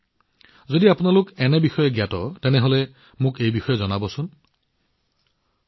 যদি আপোনালোকে কৰবাত এনে ধৰণৰ কোনো অনন্য প্ৰচেষ্টা কৰাৰ বিষয়ে অৱগত তেন্তে আপোনালোকে সেই তথ্য মোৰ সৈতেও ভাগবতৰা কৰিব পাৰে